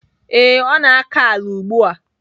Ee, ọ na-akọ ala ugbu a.